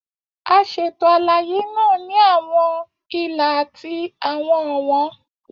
A ṣeto alaye naa ni awọn ila ati awọn ọwọn.